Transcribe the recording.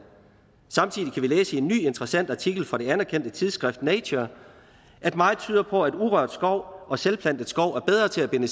samtidig kan vi læse i en ny interessant artikel fra det anerkendte tidsskrift nature at meget tyder på at urørt skov og selvplantet skov er bedre til at binde